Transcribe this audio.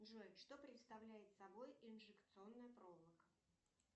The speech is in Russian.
джой что представляет собой инжекционная проволока